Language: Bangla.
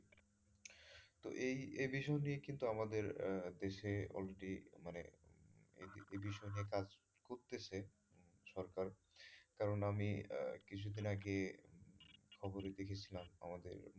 তো এই এ বিষয় নিয়েও কিন্তু আমাদের আহ দেশে already মানে এ বিষয় নিয়ে কাজ করতেছে সরকার কারন আমি আহ কিছুদিন আছে খবরে দেখেছিলাম আমাদের,